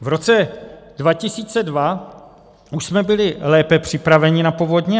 V roce 2002 už jsme byli lépe připraveni na povodně.